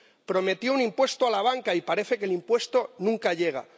Prometió un impuesto a la banca y parece que el impuesto nunca llega.